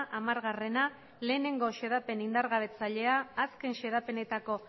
hamara bat xedapen indargabetzailea azken xedapenetako